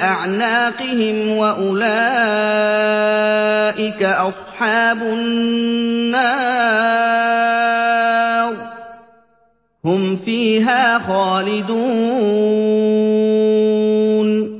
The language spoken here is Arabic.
أَعْنَاقِهِمْ ۖ وَأُولَٰئِكَ أَصْحَابُ النَّارِ ۖ هُمْ فِيهَا خَالِدُونَ